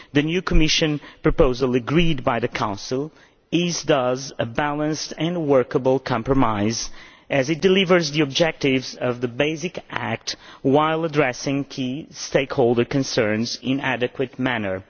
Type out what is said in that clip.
The new Commission proposal agreed by the Council is thus a balanced and workable compromise as it delivers the objectives of the basic act while addressing key stakeholder concerns in an adequate manner.